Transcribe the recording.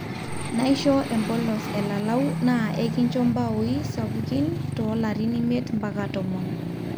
naisho empolos elalau na eikincho mbaoi sapukin too larin imiet mpaka tomon